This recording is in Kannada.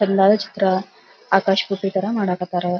ಎಲ್ಲರ ಚಿತ್ರ ಆಕಾಶ ಪುಟ್ಟಿ ತರ ಮಾಡಕ್ ಹತ್ತರ.